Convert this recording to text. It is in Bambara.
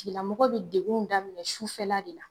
Tigilamɔgɔ bi degun daminɛ sufɛla de la